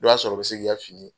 I b'a sɔrɔ o bi se k'i ka fini